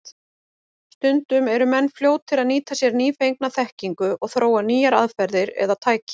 Stundum eru menn fljótir að nýta sér nýfengna þekkingu og þróa nýjar aðferðir eða tæki.